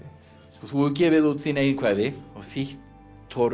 þú hefur gefið út þín eigin kvæði og þýtt